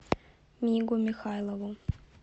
мигу михайлову